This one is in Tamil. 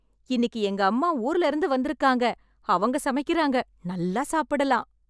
இன்னிக்கு எங்க அம்மா ஊர்ல இருந்து வந்துருக்காங்க அவங்க சமைக்கிறாங்க, நல்லா சாப்பிடலாம்.